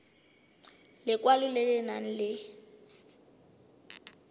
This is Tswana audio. lekwalo le le nang le